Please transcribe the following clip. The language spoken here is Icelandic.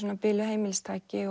biluð heimilistæki